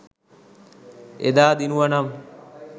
එදා දිනුවනම්